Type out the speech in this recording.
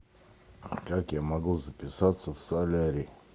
как я могу записаться в солярий